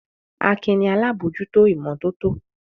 Akin ni alábòójútó ìmọ́tótó.